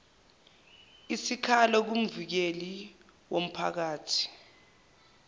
isikhalo kumvikeli womphakathi